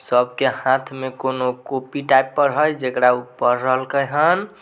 सबके हाथ में कोनो कॉपी टाइप पर हेय जकड़ा उ पढ़ रहल के हन।